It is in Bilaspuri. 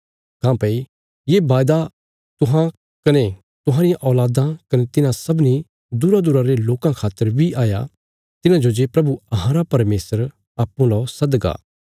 काँह्भई ये वादा तुहां कने तुहांरियां औल़ादां कने तिन्हां सबनी दूरादूरा रे लोकां खातर बी हया तिन्हांजो जे प्रभु अहांरा परमेशर अप्पूँ ला सदगा